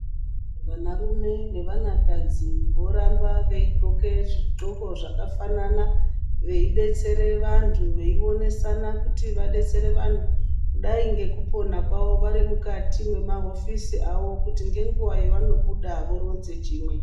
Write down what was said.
Vanarume nevanakadzi voramba veidxoke zvidxoko zvakafanana veidetsere vantu veionesana kuti vadetsere vantu, dai ngekupona kwawo varimukati mwemahofisi avo kuti ngenguwa yavanobuda voronze chimwe.